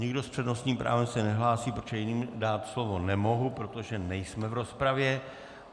Nikdo s přednostním právem se nehlásí, protože jim dát slovo nemohu, protože nejsme v rozpravě.